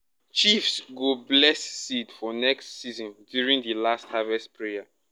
chiefs go bless seed for next season during the last harvest prayer.